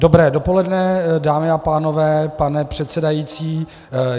Dobré dopoledne, dámy a pánové, pane předsedající.